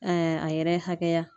a yɛrɛ hakɛya.